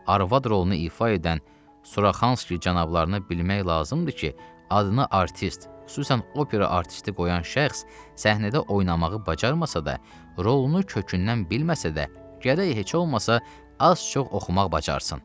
Arvad rolunu ifa edən Suraxanski cənablarını bilmək lazımdır ki, adını artist, xüsusən opera artisti qoyan şəxs səhnədə oynamağı bacarmasa da, rolunu kökündən bilməsə də, gərək heç olmasa az-çox oxumaq bacarsın.